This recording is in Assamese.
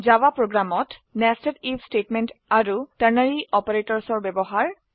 জাভা প্ৰোগ্ৰামত nested আইএফ স্টেটমেন্ট আৰু টাৰ্নাৰী অপাৰেটৰ্ছ এৰ ব্যবহাৰ